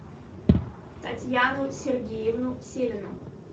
татьяну сергеевну селину